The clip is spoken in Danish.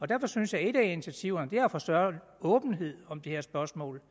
derfor synes jeg at et af initiativerne er at få større åbenhed om det her spørgsmål